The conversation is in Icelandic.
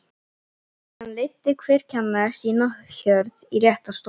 Síðan leiddi hver kennari sína hjörð í rétta stofu.